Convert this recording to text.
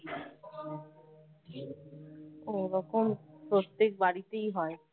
ওরকম প্রত্যেক বাড়িতেই হয়